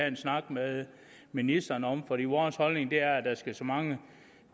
en snak med ministeren om for vores holdning er at der skal så mange